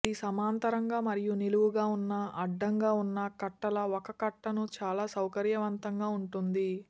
ఇది సమాంతరంగా మరియు నిలువుగా ఉన్న అడ్డంగా ఉన్న కట్టల ఒక కట్టను చాలా సౌకర్యవంతంగా ఉంటుంది